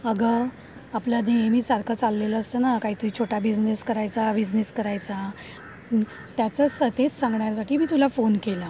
अगं, आपलं नेहमीसारखं चाललेलं असतं ना काहीतरी छोटा बिझनेस करायचा बिझनेस करायचा. त्याच्याच तेच सांगण्यासाठी मी तुला फोन केला.